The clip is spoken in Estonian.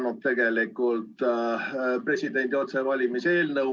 Me tegelikult oleme esitanud presidendi otsevalimise eelnõu.